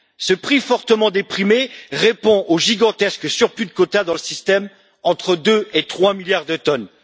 Ce prix fortement déprimé répond aux gigantesques surplus de quotas dans le système entre deux et trois milliards de tonnes.